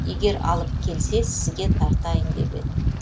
егер алып келсе сізге тартайын деп едім